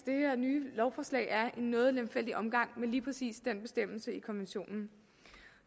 nye lovforslag er en noget lemfældig omgang med lige præcis den bestemmelse i konventionen